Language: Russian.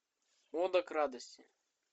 ода к радости